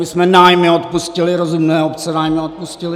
My jsme nájmy odpustili, rozumné obce nájmy odpustily.